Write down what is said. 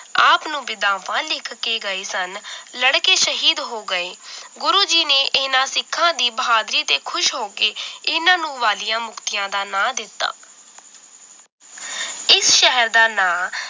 ਆਪ ਨੂੰ ਵਿਦਾਫ਼ਾਨ ਲਿਖ ਕੇ ਗਏ ਸਨ ਲੜ ਕੇ ਸ਼ਹੀਦ ਹੋਗਏ ਗੁਰੂ ਜੀ ਨੇ ਇਹਨਾਂ ਸਿਖਾਂ ਦੀ ਬਹਾਦੁਰੀ ਤੇ ਖੁਸ਼ ਹੋ ਕੇ ਇਹਨਾਂ ਨੂੰ ਵਾਲੀਆਂ ਮੁਕਤੀਆਂ ਦਾ ਨਾਂ ਦਿੱਤਾ ਇਸ ਸ਼ਹਿਰ ਦਾ ਨਾਂ ਆਪ